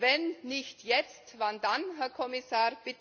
Wenn nicht jetzt, wann dann, Herr Kommissar?